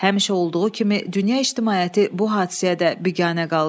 Həmişə olduğu kimi dünya ictimaiyyəti bu hadisəyə də biganə qaldı.